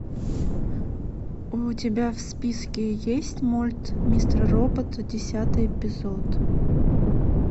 у тебя в списке есть мульт мистер робот десятый эпизод